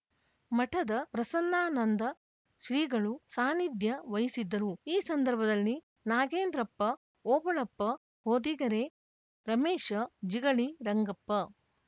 ಮಠದ ಪ್ರಸನ್ನಾನಂದ ಶ್ರೀಗಳು ಸಾನಿಧ್ಯ ವಹಿಸಿದ್ದರು ಈ ಸಂದರ್ಭದಲ್ಲಿ ನಾಗೇಂದ್ರಪ್ಪ ಓಬಳಪ್ಪ ಹೊದಿಗೆರೆ ರಮೇಶ್‌ ಜಿಗಳಿ ರಂಗಪ್ಪ